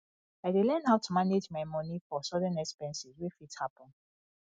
i dey learn how to manage my money for sudden expenses wey fit happen